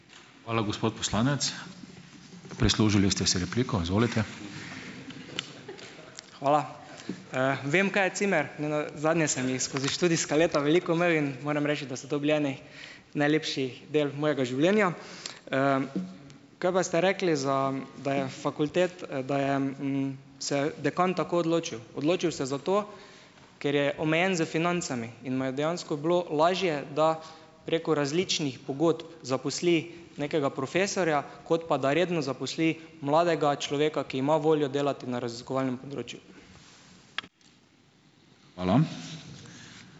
Hvala. Vem, kaj je cimer. Nenazadnje sem jih skozi študijska leta veliko imel in moram reči, da so to bili eni najlepših del mojega življenja. Kaj pa ste rekli za, da je da je, se dekan tako odločil, odločil se je zato, ker je omejen s financami in mu je dejansko bilo lažje, da preko različnih pogodb zaposli nekega profesorja, kot pa da redno zaposli mladega človeka, ki ima voljo delati na raziskovalnem področju.